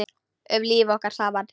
Um líf okkar saman.